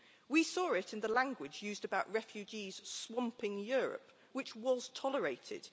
We saw it in the language used about refugees swamping Europe, which was tolerated.